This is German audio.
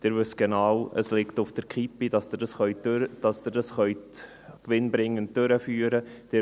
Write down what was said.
Sie wissen genau, dass es auf der Kippe steht, dass Sie das gewinnbringend durchführen können.